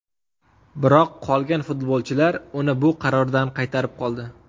Biroq qolgan futbolchilar uni bu qarordan qaytarib qoldi.